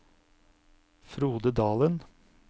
Frode Dalen